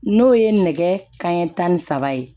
N'o ye nɛgɛ kanɲɛ tan ni saba ye